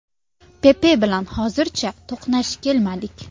Pepe bilan hozircha to‘qnash kelmadik.